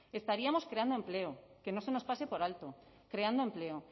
estaríamos creando empleo que no se nos pase por alto creando empleo